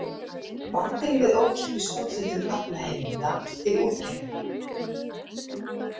Vandinn við ókeypis úthlutun aflaheimilda til útgerða.